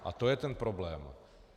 A to je ten problém.